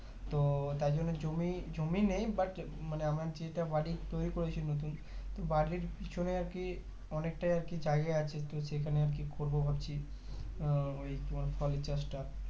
তো তাইজন্য জমি জমি নেই but মানে আমার যেটা বাড়ি তৈরি করেছি নতুন তো বাড়ির পেছনে আরকি অনেকটাই আরকি জায়গা আছে তো সেখানে আরকি করবো ভাবছি আহ ওই তোমার ফলের চাষ টা